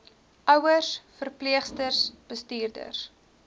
ouers verpleegsters bestuurders